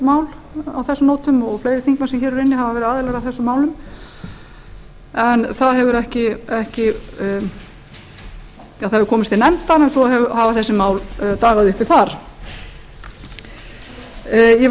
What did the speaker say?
mál á þessum nótum og fleiri þingmenn sem hér eru inni hafa verið aðilar að þessum málum en það hefur komist til nefndar svo hafa þessi mál dagað uppi þar ég vil